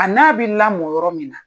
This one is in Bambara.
A n'a be lamɔ yɔrɔ min na